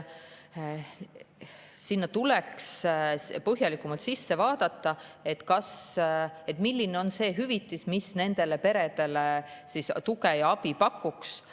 Sinna tuleks põhjalikumalt sisse vaadata – milline on see hüvitis, mis nendele peredele tuge ja abi pakuks?